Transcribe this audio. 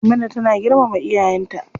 Maimuna tana girmama iyayen ta.